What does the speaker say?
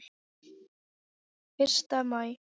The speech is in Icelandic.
Fyrsta maí.